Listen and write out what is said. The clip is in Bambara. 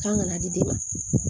K'an ka na di den ma